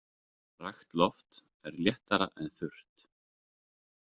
Rakt loft er léttara en þurrt.